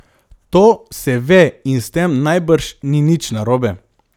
To se ve in s tem najbrž ni nič narobe.